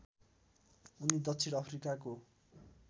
उनी दक्षिण अफ्रिकाको